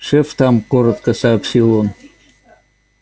шеф там коротко сообщил он